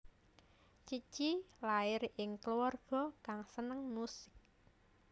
Cici lair ing kluwarga kang seneng musik